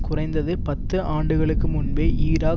குறைந்தது பத்து ஆண்டுகளுக்கு முன்பே ஈராக்